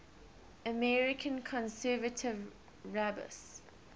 american conservative rabbis